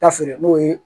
Ta feere n'o ye